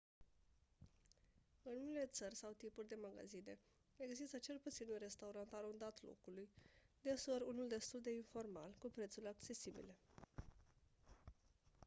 în unele țări sau tipuri de magazine există cel puțin un restaurant arondat locului deseori unul destul de informal cu prețuri accesibile